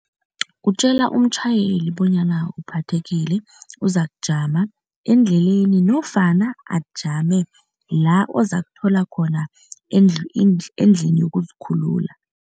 Kutjela umtjhayeli bonyana uphathekile, uzakujama endleleni nofana ajame la ozakuthola khona endlini yokuzikhulula.